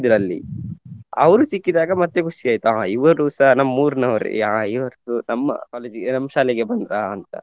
ಅಲ್ಲಿ ಅವ್ರು ಸಿಕ್ಕಿದಾಗ ಮತ್ತೆ ಖುಷಿ ಆಯ್ತು ಹಾ ಇವರುಸ ನಮ್ಮೂರಿನವರೇ ಯಾ~ ಇವರ್ದು ನಮ್ಮ college ಗೆ ನಮ್ಮ್ ಶಾಲೆಗೆ ಬಂದ್ರಾ ಅಂತ.